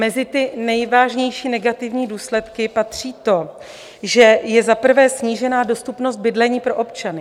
Mezi nejvážnější negativní důsledky patří to, že je za prvé snížena dostupnost bydlení pro občany.